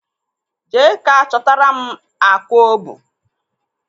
Jee ka chọtara m akwa obu.